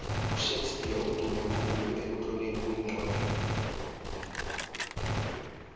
ushakes spear udumekhulu ekutlolweni kwencwani